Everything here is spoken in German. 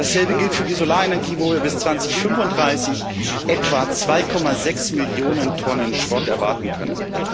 Dasselbe gilt für die Solarenergie, wo wir bis 2035 etwa 2,6 Millionen Tonnen Schrott erwarten können.